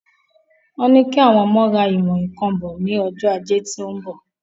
Wọ́n ní kí àwọn ọmọ ra ìwọ̀n ǹkan bo ni Ọjọ́ ajé tí óún bọ̀